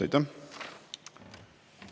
Aitäh!